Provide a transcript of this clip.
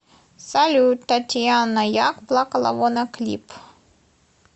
салют татьяна як плакала вона клип